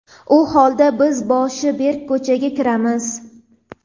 u holda biz boshi berk ko‘chaga kiramiz.